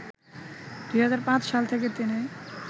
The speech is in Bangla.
২০০৫ সাল থেকে তিনি